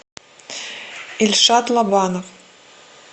ильшат лобанов